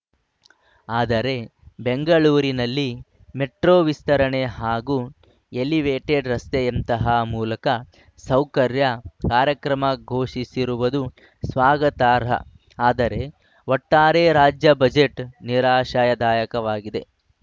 ಆದರೆ ಬೆಂಗಳೂರಿನಲ್ಲಿ ಮೆಟ್ರೋ ವಿಸ್ತರಣೆ ಹಾಗೂ ಎಲಿವೇಟೆಡ್‌ ರಸ್ತೆಯಂತಹ ಮೂಲಕ ಸೌಕರ್ಯ ಕಾರ್ಯಕ್ರಮ ಘೋಷಿಸಿರುವುದು ಸ್ವಾಗತಾರ್ಹ ಆದರೆ ಒಟ್ಟಾರೆ ರಾಜ್ಯ ಬಜೆಟ್‌ ನಿರಾಶಾಯ ದಾಯಕವಾಗಿದೆ